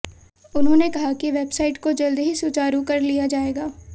उन्होंने कहा कि वेबसाइट को जल्द ही सुचारु कर लिया जाएगा